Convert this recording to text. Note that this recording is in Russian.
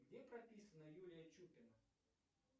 где прописана юлия чупина